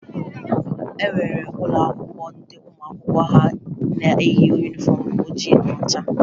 E nwere ụlọakwụkwọ ndị ụmụ akwụkwọ ha na-eyi yunifọmụ oji na ọcha